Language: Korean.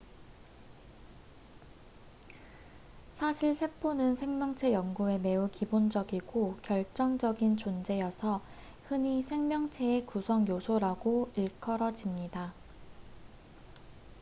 "사실 세포는 생명체 연구에 매우 기본적이고 결정적인 존재여서 흔히 "생명체의 구성 요소""라고 일컬어집니다.